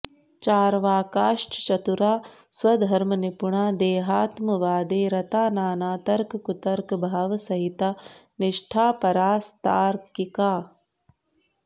चार्वाकाश्चतुराः स्वधर्म निपुणा देहात्म वादे रता नाना तर्क कुतर्क भाव सहिता निष्ठा परास्तार्किकाः